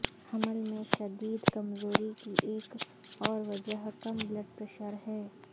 حمل میں شدید کمزوری کی ایک اور وجہ کم بلڈ پریشر ہے